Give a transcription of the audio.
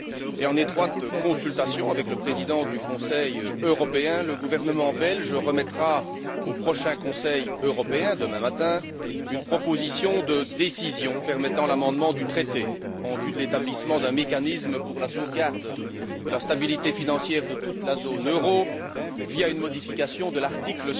et en étroite consultation avec le Président du Conseil européen, le gouvernement belge remettra au prochain Conseil européen, demain matin, une proposition de décision permettant l'amendement du traité, en vue de l'établissement d'un mécanisme pour la sauvegarde de la stabilité financière de toute la zone euro, via une modification de l'article